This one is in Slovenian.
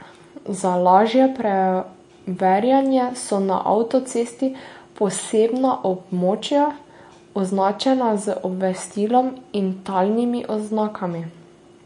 Za lažje preverjanje so na avtocesti posebna območja, označena z obvestilom in talnimi oznakami.